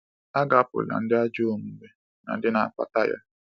A ga-apụla ndị ajọ omume na ndị na-akpata ya.